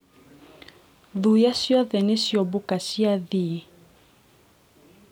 thuya cĩothe niciobũka cĩathiĩ